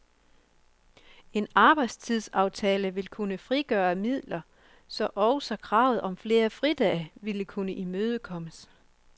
En arbejdstidsaftale vil kunne frigøre midler, så også kravet om flere fridage vil kunne imødekommes.